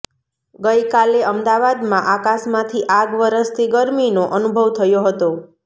ગઇકાલે અમદાવાદમાં આકાશમાંથી આગ વરસતી ગરમીનો અનુભવ થયો હતો